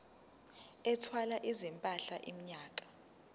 ethwala izimpahla iminyaka